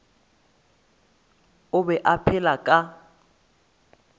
o be a phela ka